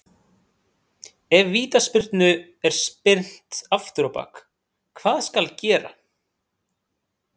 Ef Vítaspyrnu er spyrnt afturábak, hvað skal gera?